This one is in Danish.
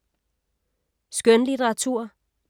Skønlitteratur